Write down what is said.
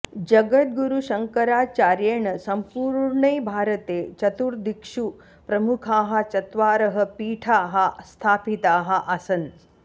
जगद्गुरुशङ्कराचार्येण सम्पूर्णे भारते चतुर्दिक्षु प्रमुखाः चत्वारः पीठाः स्थापिताः आसन्